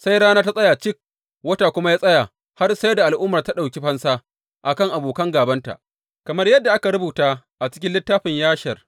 Sai rana ta tsaya cik, wata kuma ya tsaya, har sai da al’ummar ta ɗauki fansa a kan abokan gābanta, kamar yadda aka rubuta a cikin littafin Yashar.